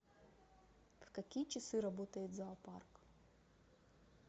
в какие часы работает зоопарк